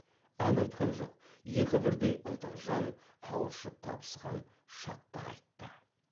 ән айтқан жоқ екі бірдей ынтық жан қауышып табысқан шаттық айтты